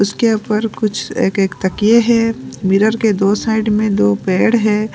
उसके ऊपर कुछ एक एक तकिए है मिरर के दो साइड में दो पेड़ है।